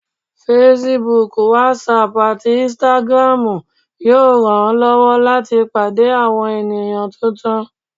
Facebook, Whatsapp atí Instagram yóò ranlọwọ lati pàdé awọn eníyan túntún.